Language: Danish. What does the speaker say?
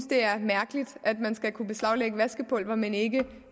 det er mærkeligt at man skal kunne beslaglægge vaskepulver men ikke